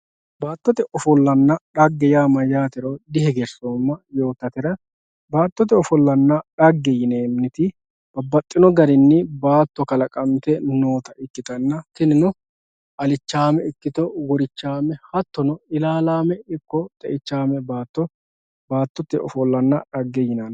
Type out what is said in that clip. baattote ofollanna xagge yaa mayyaatero dihegeraoomma yoottatera baattote ofollanna xagge yineemmoti babbaxxitino garinni baatto kalaqante noota ikkitanna tinino alichaame ikkito horichaame hattono ilaalaame ikko xe"ichaame baatto baattote ofollonna xagge yinanni.